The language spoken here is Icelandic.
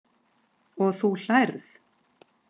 Og þú hlærð?